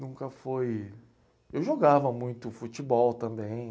Nunca foi... Eu jogava muito futebol também.